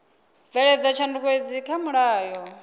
bveledza tshanduko idzi kha mulayo